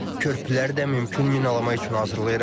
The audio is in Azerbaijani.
Körpüləri də mümkün minalama üçün hazırlayırıq.